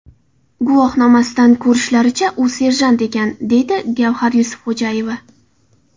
Guvohnomasidan ko‘rishlaricha, u serjant ekan”, deydi Gavhar Yusufxo‘jayeva.